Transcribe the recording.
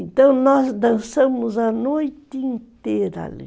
Então nós dançamos a noite inteira ali.